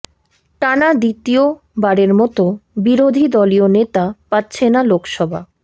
টানা দ্বিতীয়বারের মতো বিরোধী দলীয় নেতা পাচ্ছে না লোকসভা